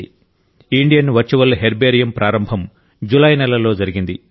Indian virtual herbarium ప్రారంభం జులై నెలలో జరిగింది